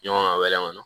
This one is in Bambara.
Ɲɔgɔn ka wɛlɛ kɔnɔ